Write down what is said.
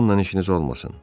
Onunla işiniz olmasın.